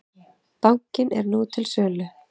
Bankinn er nú til sölu.